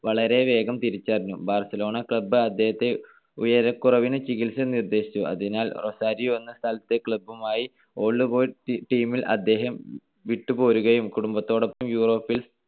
വളരെ വേഗം തിരിച്ചറിഞ്ഞു. ബാർസലോണ club അദ്ദേഹത്തെ ഉയരക്കുറവിനു ചികിത്സ നിർദ്ദേശിച്ചു. അതിനാൽ റൊസാരിയോ എന്ന സ്ഥലത്തെ club മായി old boys team ൽ അദ്ദേഹം വിട്ടുപോരുകയും കുടുംബത്തോടൊപ്പം യൂറോപ്പിൽ